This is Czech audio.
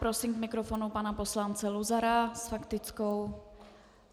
Prosím k mikrofonu pana poslance Luzara s faktickou.